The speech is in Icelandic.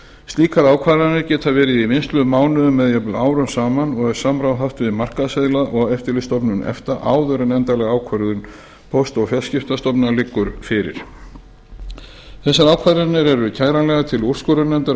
slíkar ákvarðanir geta verið í vinnslu mánuðum eða jafnvel árum saman og er samráð haft við markaðsaðila og eftirlitsstofnun efta áður en endanleg ákvörðun póst og fjarskiptastofnunar liggur fyrir þessar ákvarðanir eru kæranlegar til úrskurðarnefndar um